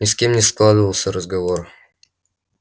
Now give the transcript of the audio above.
ни с кем не складывался разговор